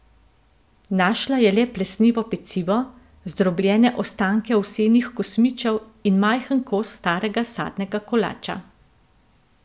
Našla je le plesnivo pecivo, zdrobljene ostanke ovsenih kosmičev in majhen kos starega sadnega kolača.